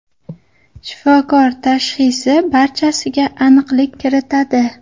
Shifokor tashxisi barchasiga aniqlik kiritadi.